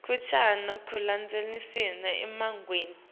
kancane ekulandzelaniseni imininingwane